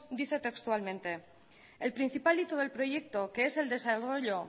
dice textualmente el principal hito del proyecto que es el